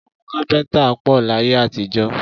Àwọn kápẹ́ńtà pọ̀ láyé àtijọ́.